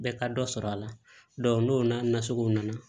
Bɛɛ ka dɔ sɔrɔ a la n'o n'a nasugu nana